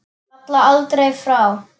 Falla aldrei frá.